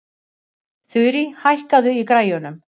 Þurí, hækkaðu í græjunum.